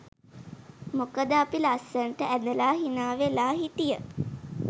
මොකද අපි ලස්සනට ඇඳලා හිනාවෙලා හිටිය